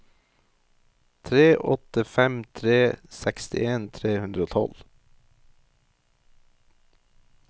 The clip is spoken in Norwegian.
tre åtte fem tre sekstien tre hundre og tolv